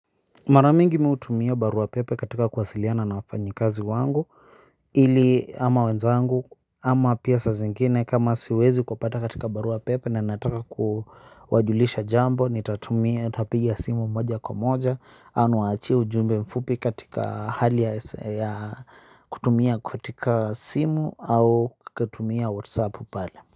Maramingi mimi hutumia barua pepe katika kuwasiliana na wafanyi kazi wangu. Ili ama wenzangu ama pia saa zingine kama siwezi kupata katika barua pepe na nataka kuwajulisha jambo nitatumia nitapigia simu moja kwa moja ama achia ujumbe mfupi katika hali ya kutumia katika simu au kutumia whatsapp pale.